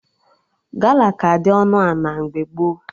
Gala ka dị ọnụ ana mgbe gboo